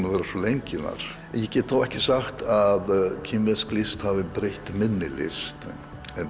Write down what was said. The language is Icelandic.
að vera svo lengi þar en ég get þó ekki sagt að kínversk list hafi breytt minni list en